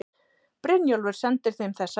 Brynjólfur sendi þeim þessa vísu